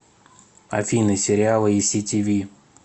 афина сериалы и си ти ви